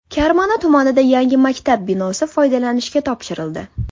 Karmana tumanida yangi maktab binosi foydalanishga topshirildi.